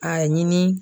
A ɲini